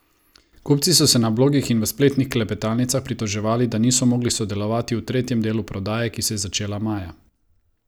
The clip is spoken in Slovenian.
Kupci so se na blogih in v spletnih klepetalnicah pritoževali, da niso mogli sodelovati v tretjem delu prodaje, ki se je začela maja.